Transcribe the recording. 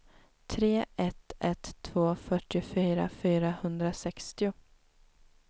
tre ett ett två fyrtiofyra fyrahundrasextio